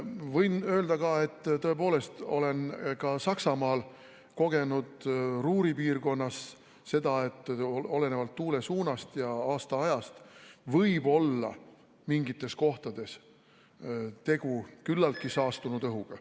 Võin öelda, et tõepoolest olen ka Saksamaal Ruhri piirkonnas kogenud seda, et olenevalt tuule suunast ja aastaajast võib mingites kohtades olla tegu küllaltki saastunud õhuga.